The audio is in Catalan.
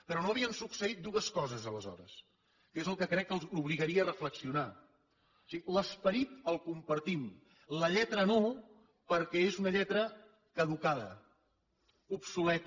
però no havien succeït dues coses aleshores que és el que crec que els obligaria a reflexionar o sigui l’esperit el compartim la lletra no perquè és una lletra caducada obsoleta